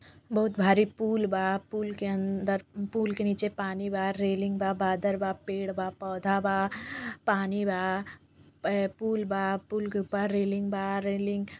बहोत भारी पूल बा। पूल के अंदरपूल के नीचे पानी बारैलिंग बाबादल बापेड़ बापौधा बा पानी बापूल बापूल के ऊपर रैलिंग बा। रैलिंग --